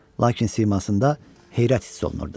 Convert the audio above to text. Lakin simasında heyrət hiss olunurdu.